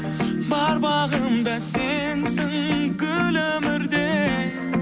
бар бағым да сенсің гүл өмірде